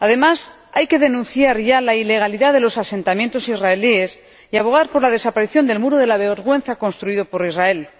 Además, hay que denunciar ya la ilegalidad de los asentamientos israelíes y abogar por la desaparición del muro de la vergüenza construido por Israel.